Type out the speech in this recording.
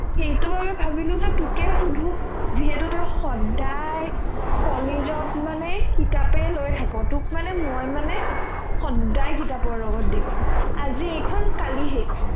সেইটো বাৰু ভাবিলো মই তোকে সোধো সেইটো তই সদ্দাই কলেজত মানে কিতাপে লৈ থাক তোক মানে মই মানে সদ্দাই কিতাপৰ লগত দেখো আজি এইখন কালি সেইখন